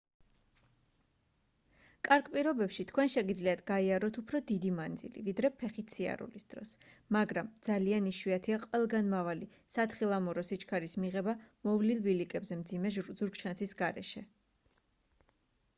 კარგ პირობებში თქვენ შეგიძლიათ გაიაროთ უფრო დიდი მანძილი ვიდრე ფეხით სიარულის დროს მაგრამ ძალიან იშვიათია ყველგანმავალი სათხილამურო სიჩქარის მიღება მოვლილ ბილიკებზე მძიმე ზურგჩანთის გარეშე